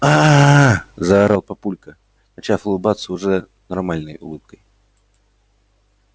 а-а-а-а-а-а заорал папулька начав улыбаться уже нормальной улыбкой